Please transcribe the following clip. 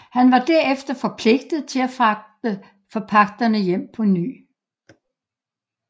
Han var derefter forpligtet til at fragte forpagterne hjem på ny